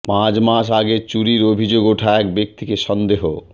পাঁচ মাস আগে চুরির অভিযোগ ওঠা এক ব্যক্তিকে সন্দেহ